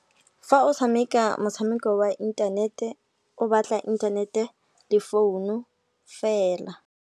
Fa o tshameka motshameko wa inthanete, o batla inthanete le founu fela.